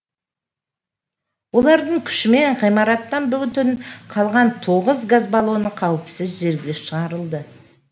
олардың күшімен ғимараттан бүтін қалған тоғыз газ баллоны қауіпсіз жерге шығарылды